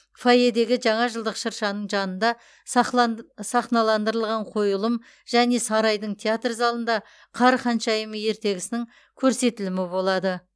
фойедегі жаңа жылдық шыршаның жанында сахналандырылған қойылым және сарайдың театр залында қар ханшайымы ертегісінің көрсетілімі болады